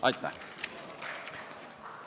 " Aitäh!